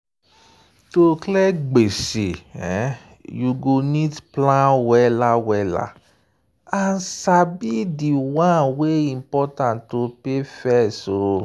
to clear gbese you go need plan well and sabi di one wey important to pay first.